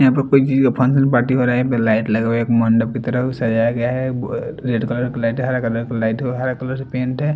यहाँ पे कोई चीज़ का फंक्शन पार्टी हो रहा है यहाँ पे लाईट लगा हुआ है एक मंडप की तरफ सजाया गया है अ रेड कलर का लाईट है हरा कलर का लाईट है और हरा कलर से पेंट है।